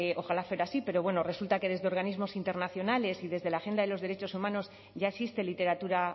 ojalá fuera así pero bueno resulta que desde organismos internacionales y desde la agenda de los derechos humanos ya existe literatura